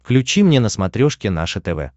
включи мне на смотрешке наше тв